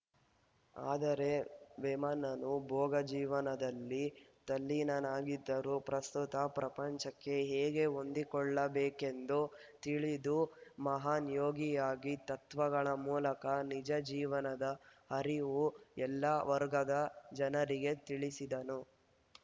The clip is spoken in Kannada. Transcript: ಆದರೆ ವೇಮನನು ಭೋಗ ಜೀವನದಲ್ಲಿ ತಲ್ಲೀನನಾಗಿದ್ದರೂ ಪ್ರಸುತ್ತ ಪ್ರಪಂಚಕ್ಕೆ ಹೇಗೆ ಹೊಂದಿಕೊಳ್ಳಬೇಕೆಂದು ತಿಳಿದು ಮಹಾನ್‌ ಯೋಗಿಯಾಗಿ ತತ್ವಗಳ ಮೂಲಕ ನಿಜ ಜೀವನದ ಹರಿವು ಎಲ್ಲ ವರ್ಗದ ಜನರಿಗೆ ತಿಳಿಸಿದನು